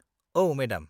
औ, मेडाम।